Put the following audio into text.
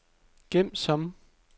gem som